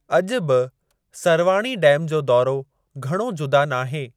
अॼु बि सरवाणी डैम जो दौरो घणो जुदा नाहे।